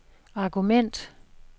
argument